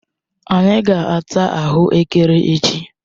Anyi ga-ata ahuekere echi?